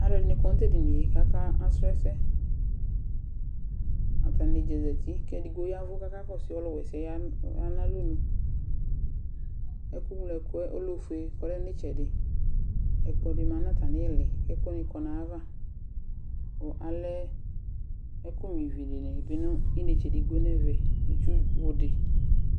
Aluɛdini kɔ nutedɩnɩe kakɔsrɔ ɛsɛ Atanɩdza zatɩ kakakɔsʊ ɔluwesɛɔya yanalɔnʊ Ɛku gloɛkuɛ ole ifue kɔlɛ nitsɛdɩ Ɛkplɔ di ma natamilɩ kɛkuwani kɔ nayava Kalɛ ɛkuɣnuivi ninetsedigbo nevɛ nitsʊ wuni